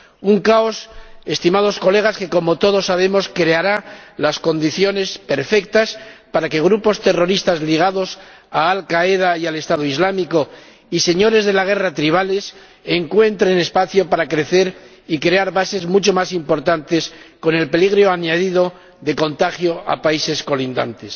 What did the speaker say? Un caos, estimados colegas, que, como todos sabemos, creará las condiciones perfectas para que grupos terroristas ligados a Al Qaeda y al Estado Islámico y señores de la guerra tribales encuentren espacio para crecer y crear bases mucho más importantes, con el peligro añadido del contagio a países colindantes.